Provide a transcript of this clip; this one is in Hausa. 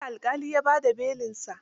Jiya alƙali ya ba da belin sa.